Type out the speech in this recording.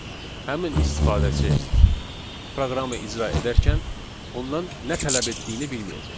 həmin istifadəçi proqramı icra edərkən ondan nə tələb etdiyini bilməyəcək.